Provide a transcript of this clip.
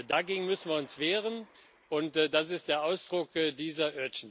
Dagegen müssen wir uns wehren, und das ist der Ausdruck dieser